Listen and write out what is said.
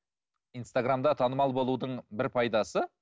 инстаграмда танымал болудың бір пайдасы